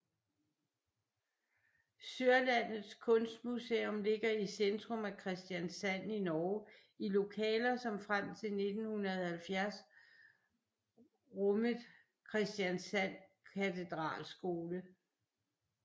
Sørlandets Kunstmuseum ligger i centrum af Kristiansand i Norge i lokaler som frem til 1970 rummet Kristiansand Katedralskole